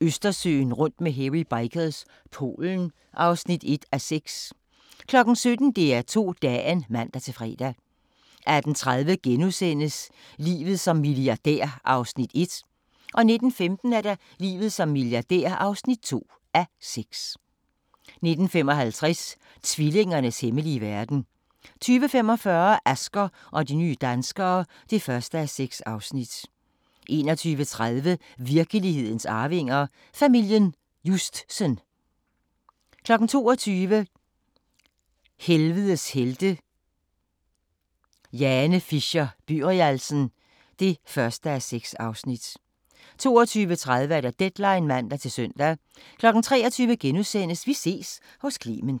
Østersøen rundt med Hairy Bikers – Polen (1:6) 17:00: DR2 Dagen (man-fre) 18:30: Livet som milliardær (1:6)* 19:15: Livet som milliardær (2:6) 19:55: Tvillingernes hemmelige verden 20:45: Asger og de nye danskere (1:6) 21:30: Virkelighedens arvinger: Familien Justsen 22:00: Helvedes helte – Jane Fisher-Byrialsen (1:6) 22:30: Deadline (man-søn) 23:00: Vi ses hos Clement *